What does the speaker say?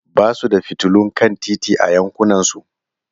Ba su da fitilun kan titi a yankunansu.